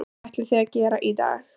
Hvað ætlið þið að gera í dag?